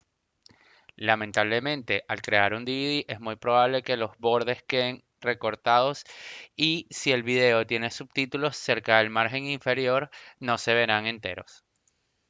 lamentablemente al crear un dvd es muy probable que los bordes queden recortados y si el vídeo tiene subtítulos cerca del margen inferior no se verán enteros